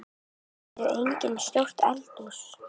Þar er einnig stórt eldhús.